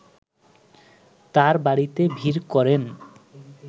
তাঁর বাড়িতে ভিড় করেন